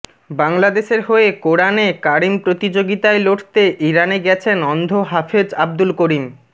বাংলাদেশের হয়ে কোরআনে কারিম প্রতিযোগিতায় লড়তে ইরানে গেছেন অন্ধ হাফেজ আবদুল করিম